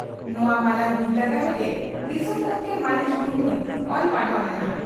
ᱱᱚᱣᱟ ᱢᱟᱨᱟᱝ ᱵᱤᱨᱫᱟᱹᱜᱟᱲ ᱨᱮᱜᱮ ᱫᱤᱥᱚᱢ ᱜᱚᱢᱠᱮ ᱢᱟᱹᱱᱤᱡ ᱢᱩᱨᱢᱩᱭ ᱚᱞ ᱯᱟᱲᱦᱟᱣ ᱞᱮᱱᱟ ᱾